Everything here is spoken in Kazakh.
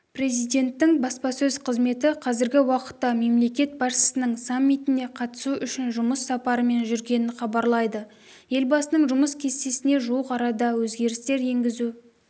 президенттің баспасөз қызметі қазіргі уақытта мемлекет басшысының саммитіне қатысу үшін жұмыс сапарымен жүргенін хабарлайды елбасының жұмыс кестесіне жуық арада өзгерістер енгізу